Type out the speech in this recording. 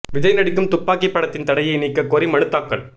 விஜய் நடிக்கும் துப்பாக்கி படத்தின் தடையை நீக்கக் கோரி மனு தாக்கல்